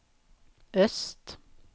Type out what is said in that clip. öst